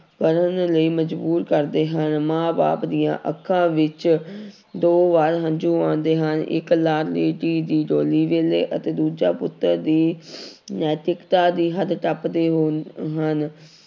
ਕਰਨ ਲਈ ਮਜ਼ਬੂਰ ਕਰਦੇ ਹਾਂ ਮਾਂ ਬਾਪ ਦੀਆਂ ਅੱਖਾਂ ਵਿੱਚ ਦੋ ਵਾਰ ਹੰਝੂ ਆਉਂਦੇ ਹਨ ਇੱਕ ਲਾਡਲੀ ਧੀ ਦੀ ਡੋਲੀ ਵੇਲੇ ਅਤੇ ਦੂਜਾ ਪੁੱਤਰ ਦੀ ਨੈਤਿਕਤਾ ਦੀ ਹੱਦ ਟੱਪਦੇ ਹੋ ਹਨ